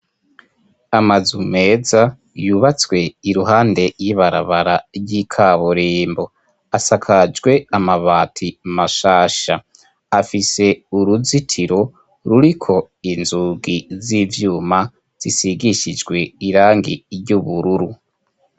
Amazu meza yubatswe iruhande y'ibarabara ry'ikaburembo asakajwe amabati mashasha afise uruzitiro ruriko inzugi z'ivyuma zisigishijwe irangi ry'ubururu.